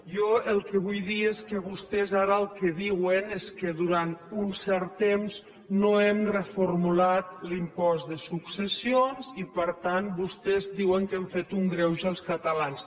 jo el que vull dir és que vostès ara el que diuen és que durant un cert temps no hem reformulat l’impost de successions i per tant vostès diuen que hem fet un greuge als catalans